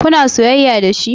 Kuna soyayya dashi?